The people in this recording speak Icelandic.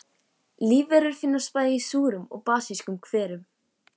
Lífverur finnast bæði í súrum og basískum hverum.